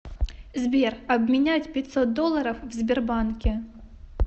сбер обменять пятьсот долларов в сбербанке